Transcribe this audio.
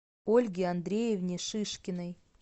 ольге андреевне шишкиной